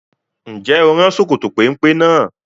Ǹjẹ́ o rán Sokoto péńpé náà?